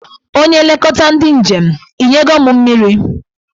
Onye nlekọta ndị njem, ị nye go mụ mmiri?